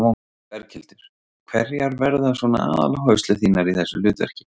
Berghildur: Hverjar verða svona aðaláherslur þínar í þessu hlutverki?